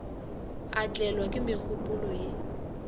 a tlelwa ke megopolo ye